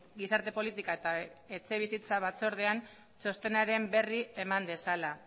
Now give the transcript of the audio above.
gizarte politika eta etxebizitza batzordean txostenaren berri eman dezala